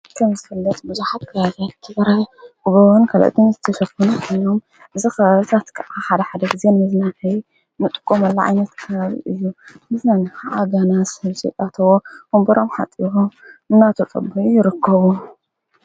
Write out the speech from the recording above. ከምዝፍልለጽ ብዙኃብ ካዘት እቲበረይ እበብን ከለ እቲን ዘተሸፍና ኖም ዝኽሳትቀዓ ሓድሕደግዜን ምዘናይ ምጥቆ መለዓኛት ካበብ እዩ ምስነንከዓ ጋናስ ሕልጺጣተዎ ዉምበሮም ሓጢሆ እናቶጸብ ይርከቡ።